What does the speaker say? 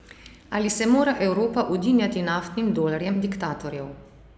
Ali se mora Evropa udinjati naftnim dolarjem diktatorjev?